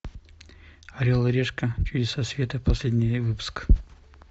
орел и решка чудеса света последний выпуск